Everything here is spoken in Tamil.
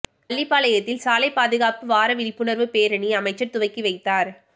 பள்ளிபாளையத்தில் சாலை பாதுகாப்பு வார விழிப்புணர்வு பேரணி அமைச்சர் துவக்கி வைத்தார்